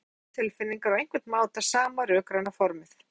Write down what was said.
Þannig hafa bæði tónlist og tilfinningar á einhvern máta sama rökræna formið.